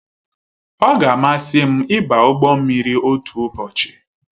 Ọ ga amasị m ịba ụgbọ mmiri otu ụbọchị